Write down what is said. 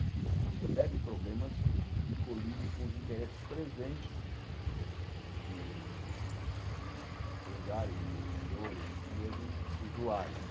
Existem uma série de problemas que colidem com os interesses presentes de empresários, de investidores e mesmo usuários.